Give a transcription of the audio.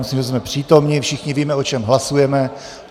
Myslím, že jsme přítomni, všichni víme, o čem hlasujeme.